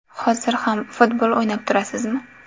Hozir ham futbol o‘ynab turasizmi?